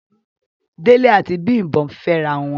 Dele ati Bimbo ǹ fẹrawọn